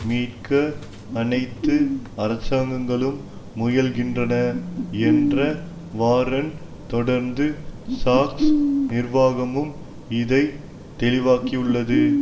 மீட்க அனைத்து அரசாங்கங்களும் முயல்கின்றன என்ற வாரன் தொடர்ந்து சசக்ஸ் நிர்வாகமும் இதை தெளிவாக்கியுள்ளது